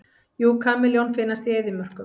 Já, kameljón finnast í eyðimörkum.